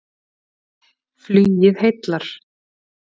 Flugið heillar